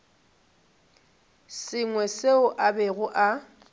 sengwe seo a bego a